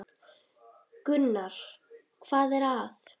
Gunnar: Hvað er það?